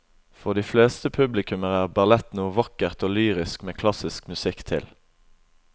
For de fleste publikummere er ballett noe vakkert og lyrisk med klassisk musikk til.